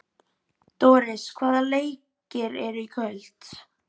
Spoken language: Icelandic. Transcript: Doris, hvaða leikir eru í kvöld?